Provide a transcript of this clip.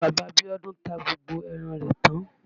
Bàbá Bíọ́dún ta gbogbo ẹran rẹ̀ tán.